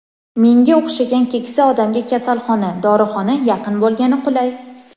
Menga o‘xshagan keksa odamga kasalxona, dorixona yaqin bo‘lgani qulay.